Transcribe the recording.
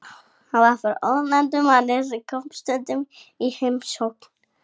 Hann var frá ónefndum manni sem kom stundum í heimsókn.